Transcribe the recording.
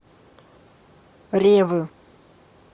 ревы